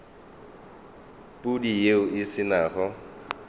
pudi yeo e se nago